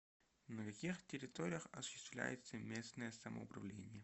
на каких территориях осуществляется местное самоуправление